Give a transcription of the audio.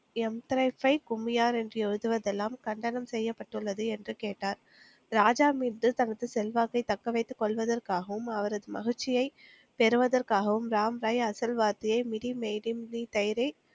என்று எழுதுவதெல்லாம் கண்டனம் செய்யப்பட்டுள்ளது என்று கேட்டார். ராஜா மீது தனது செல்வாக்கை தக்கவைத்துக் கொள்வதற்காகவும் அவரது மகிழ்ச்சியை பெறுவதற்காகவும் ராம்ராய்